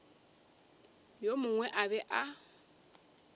yo mongwe a be a